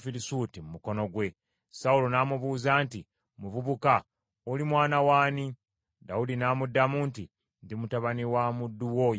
Sawulo n’amubuuza nti, “Muvubuka, oli mwana w’ani?” Dawudi n’amuddamu nti, “Ndi mutabani wa muddu wo Yese Omubesirekemu.”